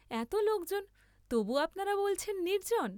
এত লোকজন তবু আপনারা বলছেন নির্জ্জন।